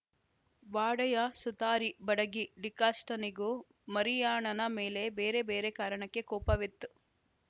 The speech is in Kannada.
ವಾಡೆಯ ಸುತಾರಿ ಬಡಗಿ ಡಿಕಾಷ್ಟನಿಗೂ ಮರಿಯಾಣನ ಮೇಲೆ ಬೇರ ಬೇರೆ ಕಾರಣಕ್ಕೆ ಕೋಪವಿತ್ತು